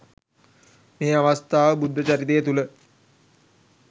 මේ අවස්ථාව බුද්ධචරිතය තුළ